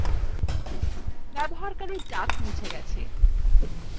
ব্যবহারকারী duck মুছে গেছে